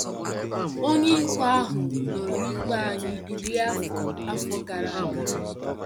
Onye ikpe ahụ nụrụ ikpe anyị iri afọ afọ gara aga!